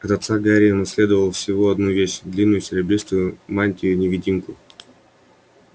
от отца гарри унаследовал всего одну вещь длинную серебристую мантию-невидимку